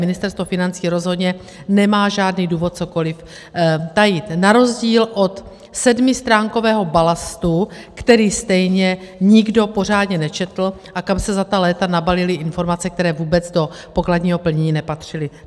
Ministerstvo financí rozhodně nemá žádný důvod cokoliv tajit na rozdíl od sedmistránkového balastu, který stejně nikdo pořádně nečetl a kam se za ta léta nabalily informace, které vůbec do pokladního plnění nepatřily.